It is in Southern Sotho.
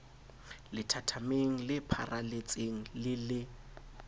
lethathameng le pharaletseng le le